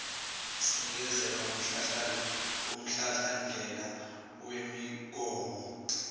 sinikeza umhlahlandlela wemigomo